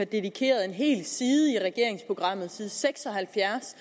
dedikeret en hel side i regeringsprogrammet side seks og halvfjerds